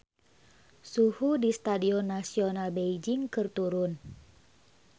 Suhu di Stadion Nasional Beijing keur turun